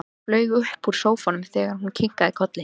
Flaug upp úr sófanum þegar hún kinkaði kolli.